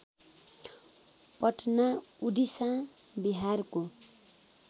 पटना उडिसा बिहारको